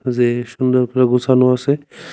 যে সুন্দর করে গুসানো আসে ।